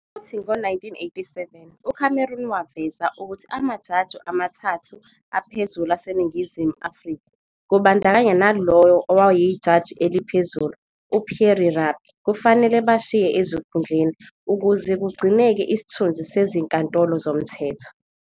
Futhi, ngo-1987, uCameron waveza ukuthi amajaji amathathu aphezulu aseNingizimu Afrika, kubandakanya nalowo owayeyiJaji eliphezulu, uPierre Rabie, kufanele bashiye ezikhundleni ukuze kugcineke isithunzi sezinkantolo zomthetho.